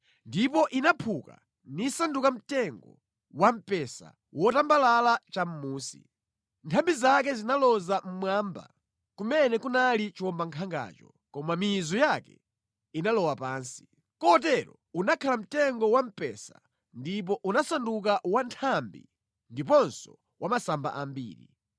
Ndipo inaphuka nisanduka mtengo wa mpesa wotambalala chamʼmunsi. Nthambi zake zinaloza mmwamba kumene kunali chiwombankhangacho, koma mizu yake inalowa pansi. Kotero unakhala mtengo wamphesa ndipo unasanduka wa nthambi ndiponso wa masamba ambiri.